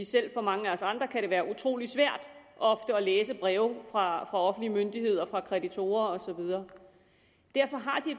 selv for mange af os andre kan det være utrolig svært ofte at læse breve fra offentlige myndigheder fra kreditorer og så videre derfor har de